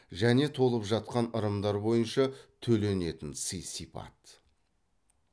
және толып жатқан ырымдар бойынша төленетін сый сипат